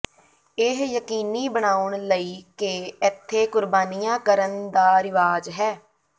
ਇਹ ਯਕੀਨੀ ਬਣਾਉਣ ਲਈ ਕਿ ਇੱਥੇ ਕੁਰਬਾਨੀਆਂ ਕਰਨ ਦਾ ਰਿਵਾਜ ਹੈ